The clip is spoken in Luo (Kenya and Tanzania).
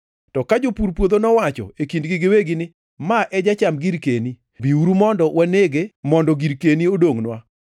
“To ka jopur puodho nowacho e kindgi giwegi ni, ‘Ma e jacham girkeni, biuru mondo wanege mondo girkeni odongʼnwa.’